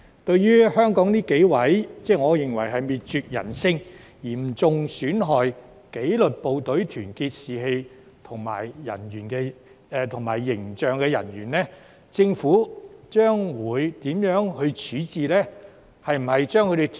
至於香港這幾名我認為是滅絕人性、嚴重損害紀律部隊團結士氣和形象的人員，政府會如何處置呢？